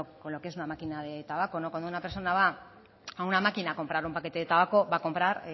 con lo que es una máquina de tabaco cuando una persona va a una máquina a comprar un paquete de tabaco va a comprar